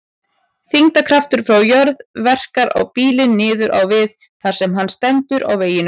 Þyngdarkraftur frá jörð verkar á bílinn niður á við þar sem hann stendur á veginum.